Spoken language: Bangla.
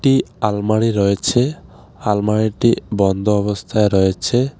একটি আলমারি রয়েছে আলমারিটি বন্ধ অবস্থায় রয়েছে.